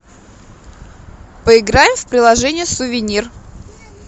поиграем в приложение сувенир